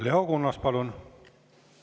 Leo Kunnas, palun!